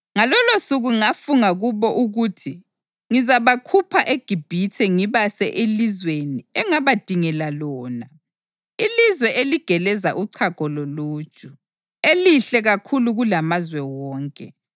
Ngalolosuku ngafunga kubo ukuthi ngizabakhupha eGibhithe ngibase elizweni engabadingela lona, ilizwe eligeleza uchago loluju, elihle kakhulu kulamazwe wonke.